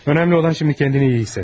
Vacib olan indi özünü yaxşı hiss etməkdir.